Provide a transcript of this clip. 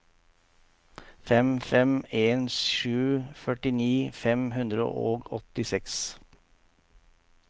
fem fem en sju førtini fem hundre og åttiseks